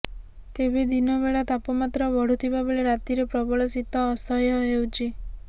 ତେବେ ଦିନବେଳା ତାପମାତ୍ରା ବଢ଼ୁଥିବାବେଳେ ରାତିରେ ପ୍ରବଳ ଶୀତ ଅସହ୍ୟ ହେଉଛି